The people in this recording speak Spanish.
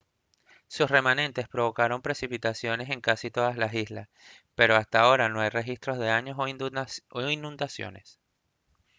sus remanentes provocaron precipitaciones en casi todas las islas pero hasta ahora no hay registros de daños o inundaciones